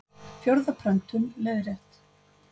Fjórða prentun, leiðrétt.